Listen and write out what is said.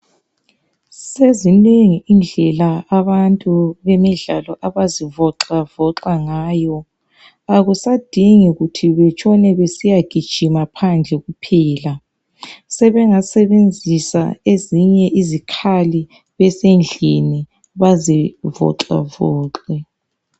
Sezingeni indlela abantu bemidlalo abazivoxavoxa ngayo. Ukusadingi kuthi kutshona kusiya gijinwa phandle kuphela. Sebasebenzisa ezinye izikhali besendlini bazivoxavoxe.